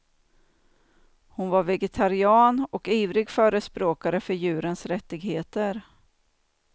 Hon var vegetarian och ivrig förespråkare för djurens rättigheter.